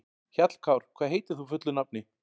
Hjallkár, hvað heitir þú fullu nafni?